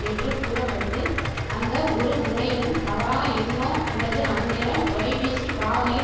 என்று கூற பட்டு அந்த ஒரு முறையிலும் தவறான எண்ணோ அல்லது அந்நேரம் தொலைபேசி பாவனையில்